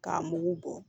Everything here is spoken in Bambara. K'a mugu bɔ